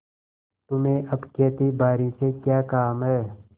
तुम्हें अब खेतीबारी से क्या काम है